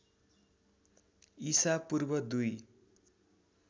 ईसा पूर्व दुई